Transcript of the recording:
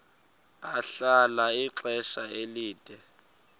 ahlala ixesha elide